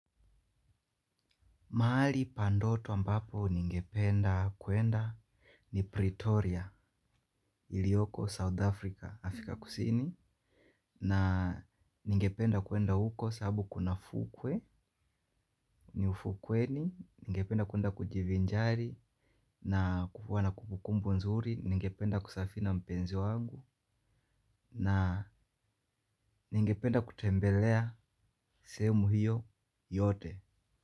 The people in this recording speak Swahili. Mahali pa ndoto ambapo ningependa kuenda ni Pretoria, ilioko South Africa, Afrika kusini. Na ningependa kuenda uko sababu kuna fukwe, ni ufukweni. Ningependa kuenda kujivinjari na kukuwa na kumbukumbu nzuri. Ningependa kusafiri na mpenzi wangu na ningependa kutembelea sehemu hiyo yote.